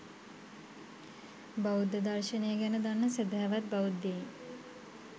බෞද්ධ දර්ශනය ගැන දන්න සැදැහැවත් බෞද්ධයින්